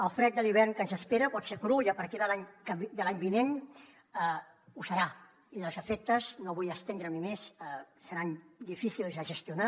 el fred de l’hivern que ens espera pot ser cru i a partir de l’any vinent ho serà i els efectes no vull estendre m’hi més seran difícils de gestionar